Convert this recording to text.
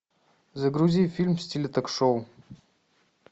загрузи фильм в стиле ток шоу